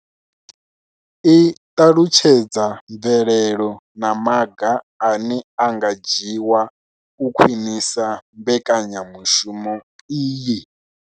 I ṱalutshedza mvelelo na maga ane a nga dzhiwa u khwinisa mbekanyamushumo iyi.